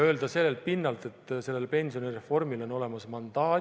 Öelda sellelt pinnalt, et sellel pensionireformil on olemas mandaat ...